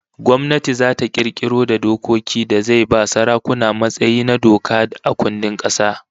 Gwamnati zata kirkiro da dokoki da zai ba sarakuna matsayi na doka a kundin kasa